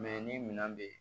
ni minɛn be yen